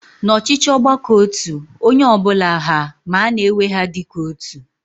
Na ọchịchị ọgbakọotu, onye ọbụla haa ma ana ewee ha dịka otu